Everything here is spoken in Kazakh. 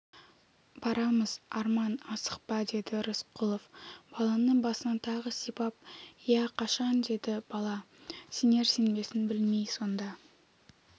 барамыз арман асықпа деді рысқұлов баланы басынан тағы сипап ия қашан деді бала сенер-сенбесін білмей сонда